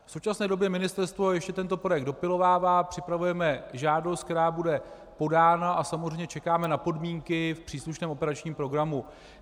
V současné době ministerstvo ještě tento projekt dopilovává, připravujeme žádost, která bude podána, a samozřejmě čekáme na podmínky v příslušném operačním programu.